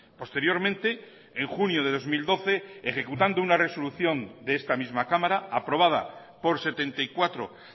posteriormente en junio de dos mil doce ejecutando una resolución de esta misma cámara aprobada por setenta y cuatro